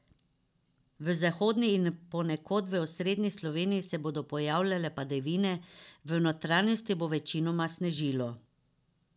V zahodni in ponekod v osrednji Sloveniji se bodo pojavljale padavine, v notranjosti bo večinoma snežilo.